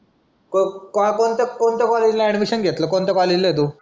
कोणता कॉलेजला अॅडमिशन घेतला? कोणत्या कॉलेजला आहे तू?